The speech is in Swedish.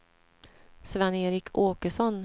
Sven-Erik Åkesson